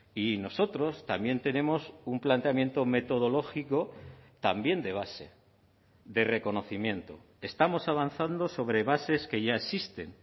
y nosotros también tenemos un planteamiento metodológico también de base de reconocimiento estamos avanzando sobre bases que ya existen